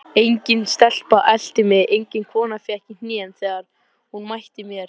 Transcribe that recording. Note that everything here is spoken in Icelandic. Engin stelpa elti mig, engin kona fékk í hnén þegar hún mætti mér.